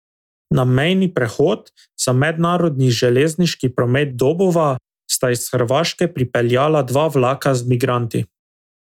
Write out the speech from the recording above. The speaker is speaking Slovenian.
Na mejni prehod za mednarodni železniški promet Dobova sta iz Hrvaške pripeljala dva vlaka z migranti.